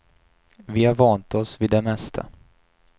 Vi har vant oss vid det mesta.